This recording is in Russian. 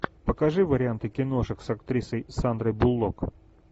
покажи варианты киношек с актрисой сандрой буллок